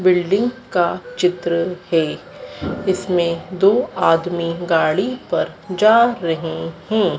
Building का चित्र है इसमें दो आदमी गाड़ी पर जा रहे हैं।